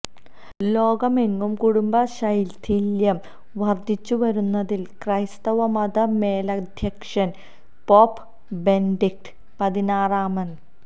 ലോകമെങ്ങും കുടുംബ ശൈഥില്യം വര്ധിച്ചുവരുന്നതില് ക്രൈസ്തവ മത മേലധ്യക്ഷന് പോപ്പ് ബെനഡിക്ട് പതിനാറാമന്